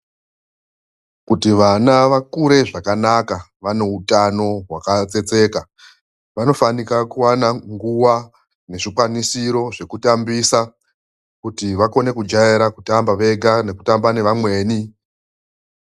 Kuti vana vakure zvakanaka vaneutano hwakatsetseka vanofanira kuwana nguwa nezvikwanisiro zvekutambisa kuti vakone kujaira kutamba vega nekutamba nevamweni.